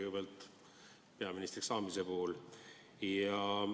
Kõigepealt palju õnne peaministriks saamise puhul!